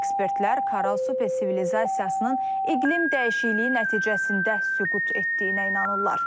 Ekspertlər Karal Super sivilizasiyasının iqlim dəyişikliyi nəticəsində süqut etdiyinə inanırlar.